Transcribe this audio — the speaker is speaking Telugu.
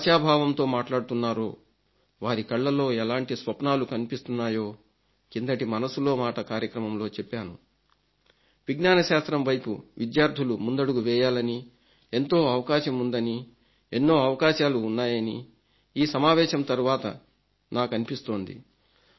ఎంత ఆశాభావంతో మాట్లాడుతున్నారో వారి కళ్లలో ఎలాంటి స్వప్నాలు కనిపిస్తున్నాయో కిందటి మనసులో మాట కార్యక్రమంలో చెప్పాను విజ్ఙాన శాస్త్రం వైపు విద్యార్థులు ముందడుగు వేయాలనీ ఎంతో అవకాశం ఉందనీ ఎన్నో అవకాశాలు ఉన్నాయనీ ఈ సమావేశం తరువాత నాకనిపిస్తోంది